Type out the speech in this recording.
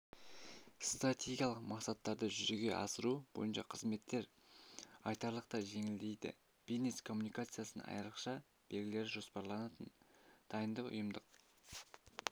стратегиялық мақсаттарды жүзеге асыру бойынша қызметтер айтарлықтай жеңілдейді бизнес коммуникациясы айрықша белгілері жоспарланатын дайындық ұйымдық